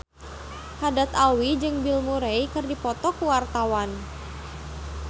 Haddad Alwi jeung Bill Murray keur dipoto ku wartawan